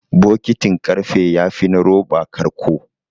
Bokitin ƙarfe yafi na roba ƙarƙo.